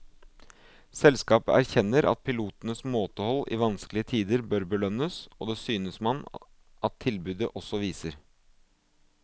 Selskapet erkjenner at pilotenes måtehold i vanskelige tider bør belønnes, og det synes man at tilbudet også viser.